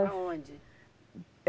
Para onde?